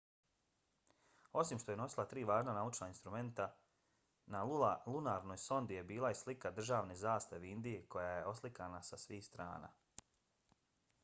osim što je nosila tri važna naučna instrumenta na lunarnoj sondi je bila i slika državne zastave indije koja je oslikana sa svih strana